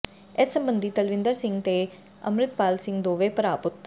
ਇਸ ਸਬੰਧੀ ਤਲਵਿੰਦਰ ਸਿੰਘ ਤੇ ਅੰਮ੍ਰਿਤਪਾਲ ਸਿੰਘ ਦੋਵੇ ਭਰਾ ਪੁੱਤਰ